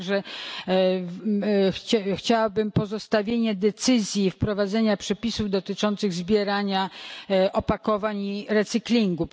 Także chciałabym pozostawienia decyzji wprowadzenia przepisów dotyczących zbierania opakowań i recyklingu.